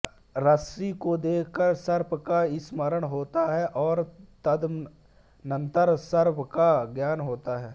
रस्सी को देखकर सर्प का स्मरण होता है और तदनंतर सर्प का ज्ञान होता है